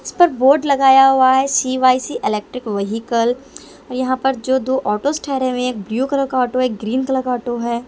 इस पर बोर्ड लगाया हुआ है सी_वाई_सी इलेक्ट्रिक व्हीकल और यहाँ पर जो दो ऑटोज ठहरे हुए हैं एक ब्लू कलर का ऑटो है एक ग्रीन कलर का ऑटो है।